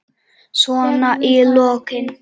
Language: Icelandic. Svona í lokin.